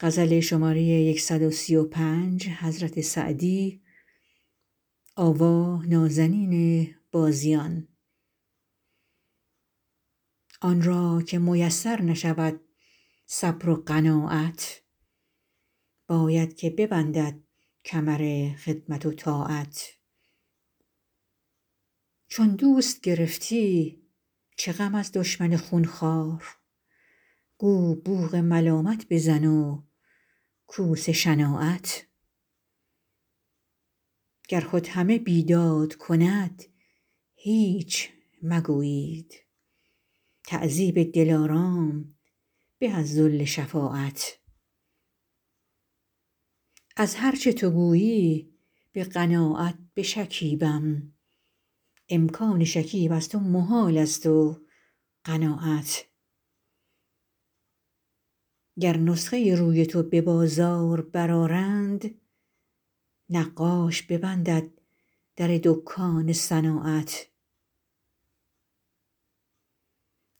آن را که میسر نشود صبر و قناعت باید که ببندد کمر خدمت و طاعت چون دوست گرفتی چه غم از دشمن خونخوار گو بوق ملامت بزن و کوس شناعت گر خود همه بیداد کند هیچ مگویید تعذیب دلارام به از ذل شفاعت از هر چه تو گویی به قناعت بشکیبم امکان شکیب از تو محالست و قناعت گر نسخه روی تو به بازار برآرند نقاش ببندد در دکان صناعت